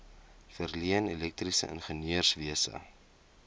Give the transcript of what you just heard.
verleen elektriese ingenieurswese